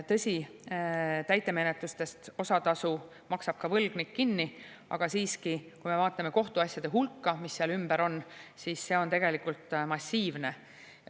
Tõsi, täitemenetluses osa tasu maksab võlgnik kinni, aga siiski, kui me vaatame kohtuasjade hulka, mis seal ümber on, siis see on tegelikult massiivne.